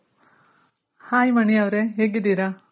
hi Mani ಅವ್ರೆ ಹೇಗಿದ್ದೀರ?